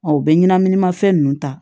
u bɛ ɲɛnaminimafɛn ninnu ta